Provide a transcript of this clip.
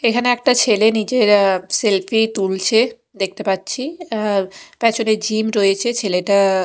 এখানে একটা ছেলে নিজের আঃ সেলফি তুলছে দেখতে পাচ্ছি আঃ প্যাছনে জিম রয়েছে ছেলেটা--